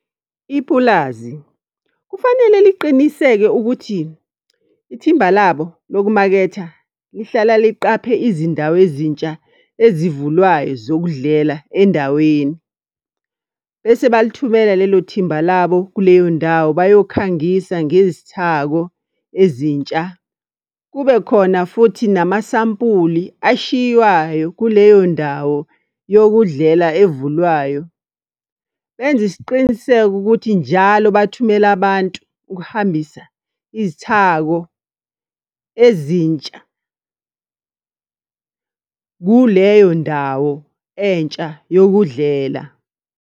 Ipulazi, kufanele liqiniseke ukuthi ithimba labo, lokumaketha lihlala liqaphe izindawo ezintsha ezivulwayo zokudlela endaweni. Bese balithumela lelo thimba labo kuleyo ndawo bayokhangisa ngezithako ezintsha. Kube khona futhi namasampuli ashiywayo kuleyo ndawo yokudlela evulwayo. Benze isiqiniseko ukuthi njalo bathumela abantu ukuhambisa izithako ezintsha kuleyo ndawo entsha yokudlela.